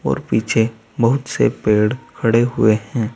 और पीछे बहुत से पेड़ खड़े हुए हैं।